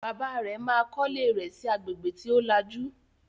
Bàbá rẹ̀ ma kọ́lé rẹ̀ sí agbègbè tí ó lajú